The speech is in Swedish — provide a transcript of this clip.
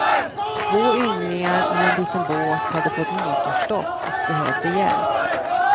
Två yngligar i en liten båt hade fått motorstopp och behövde hjälp.